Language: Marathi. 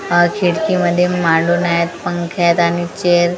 आ खिडकीमध्ये मांडून आहेत पंखे आहेत आणि चेअर --